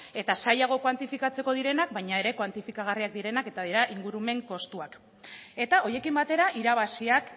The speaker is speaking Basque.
eta zailagoak kuantifikatzeko direnak baina kuantifikagarriak direnak eta dira ingurumen kostuak eta horiekin batera irabaziak